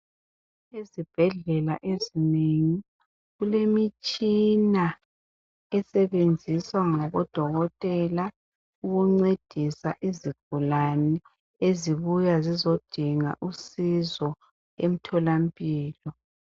zibhedlela ezinengi kulemitshina esebenziswa ngabo dokotela ukuncedisa izigulane ezibuya zizodinga usizo emtholampilo